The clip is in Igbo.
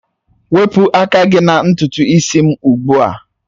Wepụ aka gị na ntutu isi m ugbu a!